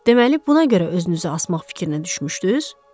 Deməli buna görə özünüzü asmaq fikrinə düşmüşdüz?